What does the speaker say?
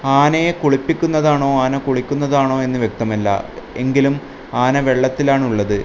ആനയെ കുളിപ്പിക്കുന്നതാണോ ആന കുളിക്കുന്നതാണോ എന്ന് വ്യക്തമല്ല എങ്കിലും ആന വെള്ളത്തിലാണുള്ളത്.